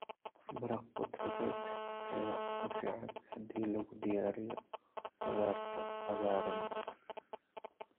Maraq khudradeed ayaa ugu fiican haddii lagu diyaariyo khudaarta cagaaran.